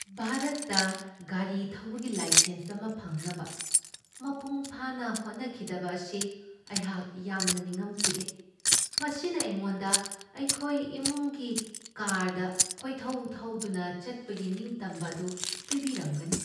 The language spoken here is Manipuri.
ꯚꯥꯔꯠꯇ ꯒꯥꯔꯤ ꯊꯧꯕꯒꯤ ꯂꯥꯏꯁꯦꯟꯁ ꯑꯃ ꯐꯪꯅꯕ ꯃꯄꯨꯡꯐꯥꯅ ꯍꯣꯠꯅꯈꯤꯗꯕ ꯑꯁꯤ ꯑꯩꯍꯥꯛ ꯌꯥꯝꯅ ꯅꯤꯡꯉꯝꯃꯛꯈꯤꯗꯦ꯫ ꯃꯁꯤꯅ ꯑꯩꯉꯣꯟꯗ ꯑꯩꯈꯣꯏ ꯏꯃꯨꯡꯒꯤ ꯀꯥꯔꯗ ꯀꯣꯏꯊꯧ ꯊꯧꯗꯨꯅ ꯆꯠꯄꯒꯤ ꯅꯤꯡꯇꯝꯕ ꯑꯗꯨ ꯄꯤꯕꯤꯔꯝꯒꯅꯤ ꯫